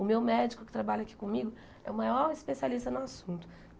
O meu médico que trabalha aqui comigo é o maior especialista no assunto.